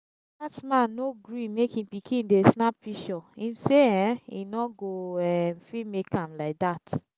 dat man no gree make im pikin dey snap pishure im say um e no go um fit make am like that